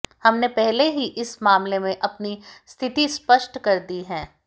हमने पहले ही इस मामले में अपनी स्थिति स्पष्ट कर दी है